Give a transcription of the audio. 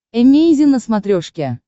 эмейзин на смотрешке